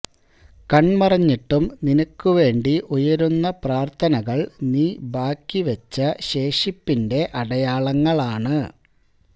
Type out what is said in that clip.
കണ്മറഞ്ഞിട്ടും നിനക്ക് വേണ്ടി ഉയരുന്ന പ്രാര്ഥനകള് നീ ബാക്കിവെച്ച ശേഷിപ്പിന്റെ അടയാളങ്ങളാണ്